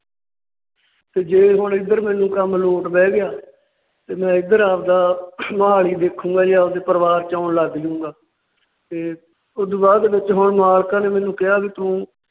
ਤੇ ਜੇ ਹੁਣ ਇੱਧਰ ਮੈਨੂੰ ਕੰਮ load ਬਹਿ ਗਿਆ ਤੇ ਮੈ ਇੱਧਰ ਆਵਦਾ ਮੋਹਾਲੀ ਦੇਖੁੰਗਾ ਆਪਦੇ ਪਰਿਵਾਰ ਚ ਆਉਣ ਲੱਗ ਜਾਊਂਗਾ। ਤੇ ਉਸ ਤੋਂ ਬਾਅਦ ਵਿੱਚ ਮੈਨੂੰ ਮਾਲਕਾਂ ਨੇ ਕਿਹਾ ਵੀ ਤੂੰ